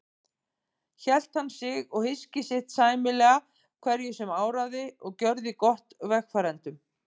Hélt hann sig og hyski sitt sæmilega hverju sem áraði og gjörði gott vegfarendum.